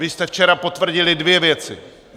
Vy jste včera potvrdili dvě věci.